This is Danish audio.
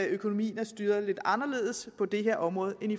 økonomien er styret lidt anderledes på det her område